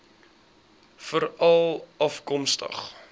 veralafkomstig